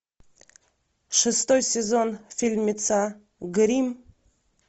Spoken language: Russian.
шестой сезон фильмеца гримм